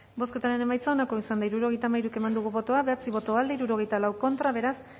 bozketaren emaitza onako izan da hirurogeita hamairu eman dugu bozka bederatzi boto aldekoa sesenta y cuatro contra beraz